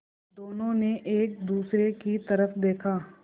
दोनों ने एक दूसरे की तरफ़ देखा